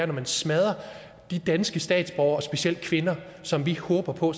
når man smadrer danske statsborgere specielt kvinder som vi håber på